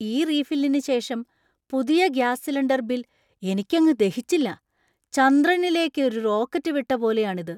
ഈ റീഫില്ലിന് ശേഷം പുതിയ ഗ്യാസ് സിലിണ്ടര്‍ ബിൽ എനിക്കങ്ങ് ദഹിച്ചില്ല. ചന്ദ്രനിലേക്ക് ഒരു റോക്കറ്റ് വിട്ട പോലെയാണ് ഇത്!